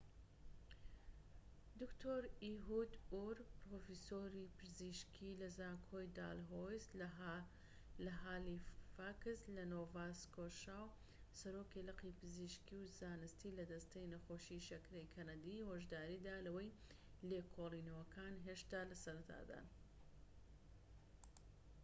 دکتۆر ئیهود ئور پرۆفیسۆری پزیشکی لە زانکۆی دالهۆیس لە هالیفاکس لە نۆڤا سکۆشا و سەرۆکی لقی پزیشکی و زانستی لە دەستەی نەخۆشی شەکرەی کەنەدی هۆشداریدا لەوەی لێکۆڵینەوەکان هێشتا لە سەرەتادان